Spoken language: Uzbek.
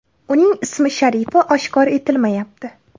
Uning ism-sharifi oshkor etilmayapti.